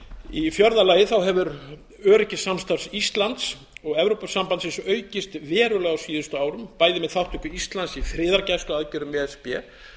í fjórða lagi hefur öryggissamstarf íslands og evrópusambandsins aukist verulega á síðustu árum bæði með þátttöku íslands í friðargæsluaðgerðum e s b